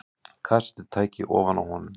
Kassettutæki ofan á honum.